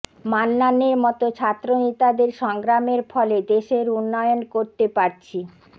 মান্নানের মতো ছাত্রনেতাদের সংগ্রামের ফলে দেশের উন্নয়ন করতে পারছি